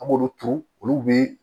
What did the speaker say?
An b'olu turu olu bɛ